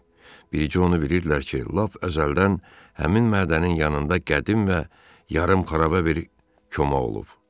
Bircə onu bilirdilər ki, lap əzəldən həmin mədənin yanında qədim və yarımxaraba bir koma olub.